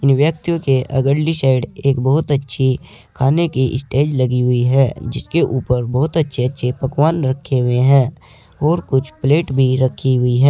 व्यक्तियों के अगली साइड एक बहुत अच्छी खाने की स्टेज लगी हुई है जिसके ऊपर बहुत अच्छे अच्छे पकवान रखे हुए हैं और कुछ प्लेट भी रखी हुई है।